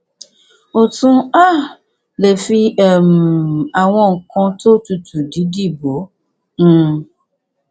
o tún um lè fi um àwọn nǹkan tó tutù dídì bò ó um